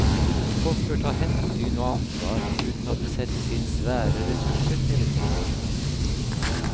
Folk bør ta hensyn og ansvar uten at det settes inn svære ressurser hele tiden.